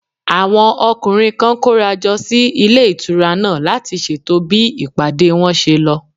Àwọn ọkùnrin kan kóra jọ sí ilé ìtura náà láti ṣètò bí ìpàdé wọn ṣe lọ